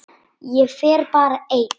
Ég fer bara ein.